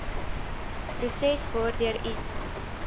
proses waardeur iets